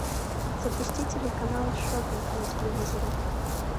запусти телеканал шоппинг на телевизоре